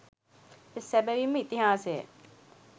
සැබැවින් ම ඉතිහාසය